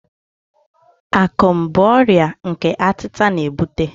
Akum bụ ọrịa nke atita na-ebute.